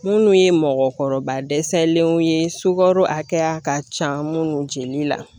Minnu ye mɔgɔkɔrɔba dɛsɛlenw ye sukaro hakɛya ka ca minnu jeli la